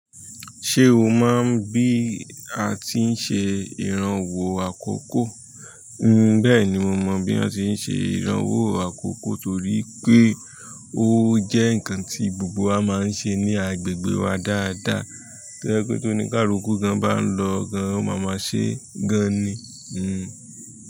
Ṣé o mọ bí a ti ń ṣe ìrànwọ́ àkókò? Bẹ́ẹ̀ ni mo mọ́ bí wón ti ń ṣe ìrànwọ́ àkókò torí pé ó jẹ́ ǹkan tí gbogbo wa máa ń ṣe ní agbègbè wa dáadáa. To jẹ wípé tóni kaluku gan ba n lọ gan, ó máa ma ṣe gan ni. Hmmm.